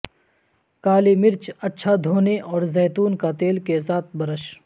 کالی مرچ اچھا دھونے اور زیتون کا تیل کے ساتھ برش